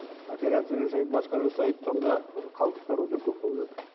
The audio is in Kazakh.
операция жасайды басқа жасайды сонда ы қалдықтар өте көп болып жатыр